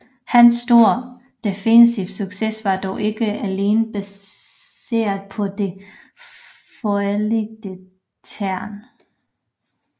Hans store defensive succes var dog ikke alene baseret på det fordelagtige terræn